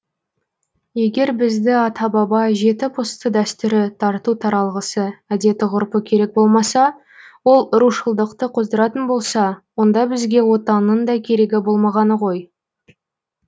егер бізді ата баба жеті пұсты дәстүрі тарту таралғысы әдеті ғұрпы керек болмаса ол рушылдықты қоздыратын болса онда бізге отанның да керегі болмағаны ғой